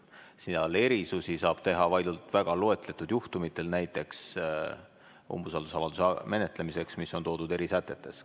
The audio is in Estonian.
Seal saab erisusi teha vaid väga loetletud juhtumitel, näiteks umbusaldusavalduse menetlemisel, mis on toodud eri sätetes.